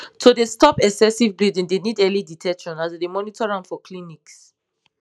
to dey spot excessive bleeding dey need early detection as dem dey monitor am for clinics